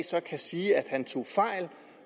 sige at han tog fejl